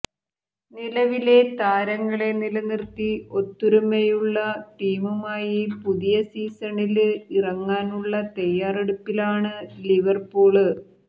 നിലവിലെ താരങ്ങളെ നിലനിര്ത്തി ഒത്തുരമയുള്ള ടീമുമായി പുതിയ സീസണില് ഇറങ്ങാനുള്ള തയ്യാറെടുപ്പിലാണ് ലിവര്പൂള്